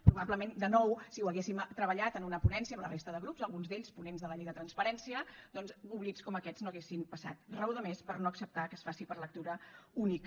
probablement de nou si ho haguéssim treballat en una ponència amb la resta de grups alguns d’ells ponents de la llei de transparència doncs oblits com aquests no haurien passat raó de més per no acceptar que es faci per lectura única